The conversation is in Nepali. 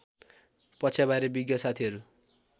पक्षबारे विज्ञ साथीहरू